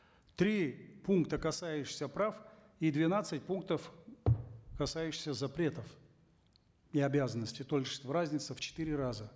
три пункта касающиеся прав и двенадцать пунктов касающиеся запретов и обязанностей то есть разница в четыре раза